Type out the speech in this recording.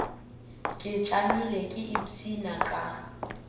ke tšamile ke ipshina ka